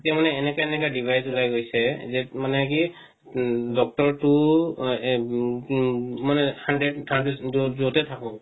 এতিয়া মানে এনেকা এনেকা device উলাই গৈছে মানে কি উম doctor তো মানে য'তে থাকক